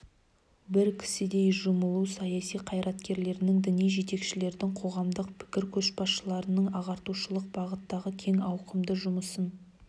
бір кісідей жұмылу саяси қайраткерлердің діни жетекшілердің қоғамдық пікір көшбасшыларының ағартушылық бағыттағы кең ауқымды жұмысын